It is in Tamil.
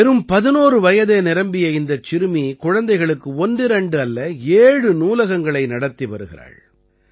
வெறும் 11 வயதே நிரம்பிய இந்தச் சிறுமி குழந்தைகளுக்கு ஒன்றிரண்டு அல்ல ஏழு நூலகங்களை நடத்தி வருகிறாள்